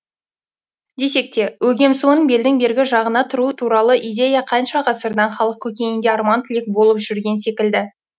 десек те өгем суын белдің бергі жағына бұру туралы идея қанша ғасырдан халық көкейінде арман тілек болып жүрген секілді